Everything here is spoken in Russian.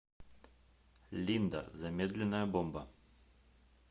линда замедленная бомба